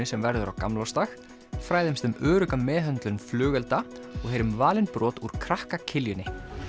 sem verður á gamlársdag fræðumst um örugga meðhöndlun flugelda og heyrum valin brot úr krakka Kiljunni